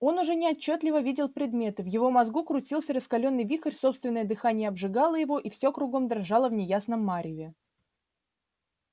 он уже неотчётливо видел предметы в его мозгу крутился раскалённый вихрь собственное дыхание обжигало его и все кругом дрожало в неясном мареве